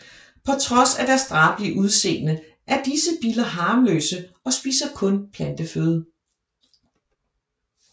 På trods af deres drabelige udseende er disse biller harmløse og spiser kun planteføde